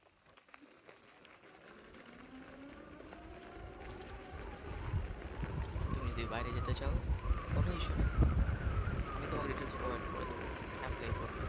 তুমি যদি বাইরে যেতে চাও কোন Issue নেই আমি তোমাকে Details Provide করে দেব Apply করবে।